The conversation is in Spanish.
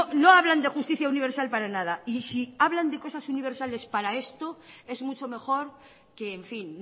no hablan de justicia universal para nada y si hablan de cosas universales para esto es mucho mejor que en fin